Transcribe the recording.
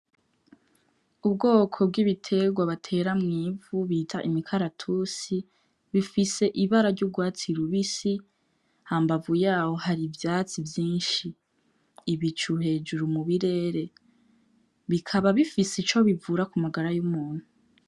Ubwoko bw'ibiterwa batera mw'ivu bita imikaratusi bifise ibara ry'urwatsi rubisi hambavu yaho hari ivyatsi vyinshi n'ibicu hejuru mu birebire , bikaba bifise ico bivura ku magara y'umuntu.